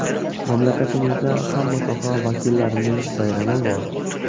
Mamlakatimizda hamma soha vakillarining bayrami bor.